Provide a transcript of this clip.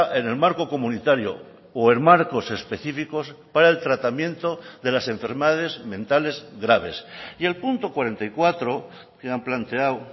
en el marco comunitario o en marcos específicos para el tratamiento de las enfermedades mentales graves y el punto cuarenta y cuatro que han planteado